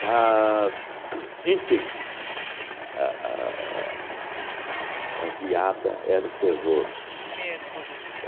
Mas, uhn enfim, a a a a geada era o terror.